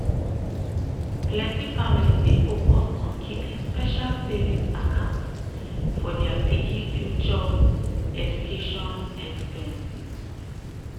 plenty families dey focus on keeping special savings account for dia pikin future education expenses.